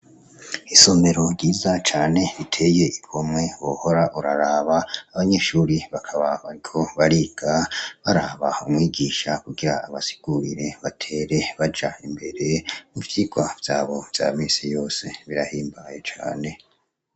Isomero ryiza cane riteye igomwe wohora urararaba abanyeshure bakaba bariko bariga baraba umwigisha kugira baraba batere Baja imbere ivyigwa vyabo vya minsi yose birahimbaye cane.